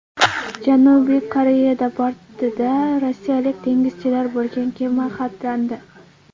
Janubiy Koreyada bortida rossiyalik dengizchilar bo‘lgan kema xatlandi.